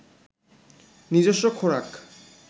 নিজস্ব খোরাক